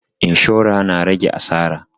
Inshora na rage asara